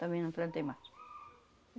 Também não plantei mais.